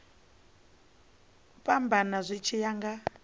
fhambana zwi tshi ya nga